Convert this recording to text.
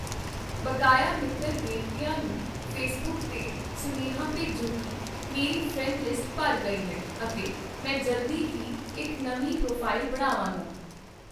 ਬਕਾਇਆ ਮਿੱਤਰ ਬੇਨਤੀਆਂ ਨੂੰ ਫੇਸਬੁੱਕ 'ਤੇ ਸੁਨੇਹਾ ਭੇਜੋ ਕੀ ਮੇਰੀ ਫ੍ਰੈਂਡ ਲਿਸਟ ਭਰ ਗਈ ਹੈ ਅਤੇ ਮੈਂ ਜਲਦੀ ਹੀ ਇੱਕ ਨਵੀਂ ਪ੍ਰੋਫਾਈਲ ਬਣਾਵਾਂਗਾ